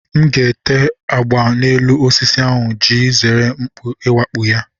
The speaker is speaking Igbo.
M ga-ete agba n'elu osisi ahụ iji zere mkpú iwakpo ya